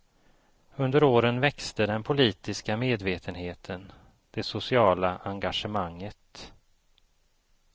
Under åren växte den politiska medvetenheten, det sociala engagemanget.